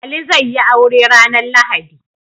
Ali zai yi aure ranar lahadi